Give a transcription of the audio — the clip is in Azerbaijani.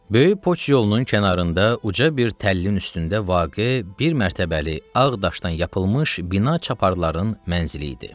Böyük poçt yolunun kənarında uca bir təllin üstündə vaqe bir mərtəbəli ağ daşdan yapılmış bina çaparın mənzili idi.